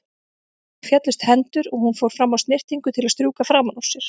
Henni féllust hendur og hún fór fram á snyrtingu til að strjúka framan úr sér.